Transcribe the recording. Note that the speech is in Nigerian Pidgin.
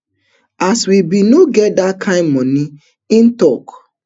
as we bin no get dat kain moni im tok